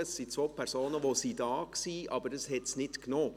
Es waren zwei Personen, die hier waren, die es aber nicht gezählt hat.